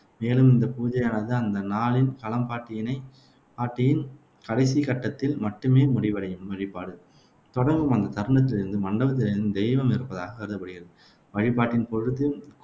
மேலும் இந்த பூஜையானது அந்த நாளின் களம்பாட்டினை காட்டி கடைசி கட்டத்தில் மட்டுமே முடிவடையும் வழிபாடு தொடங்கும் அந்த தருணத்திலிருந்து மண்டபத்தில் தெய்வம் இருப்பதாகக் கருதப்படுகிறது. வழிபாட்டின் பொழுது